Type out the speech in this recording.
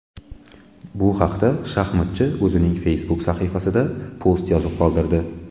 Bu haqda shaxmatchi o‘zining Facebook sahifasida post yozib qoldirdi .